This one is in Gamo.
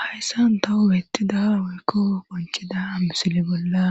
hayssan tawu beettida woykko bonchida misile bolla